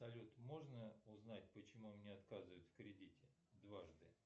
салют можно узнать почему мне отказывают в кредите дважды